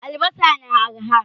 Albasa na arha.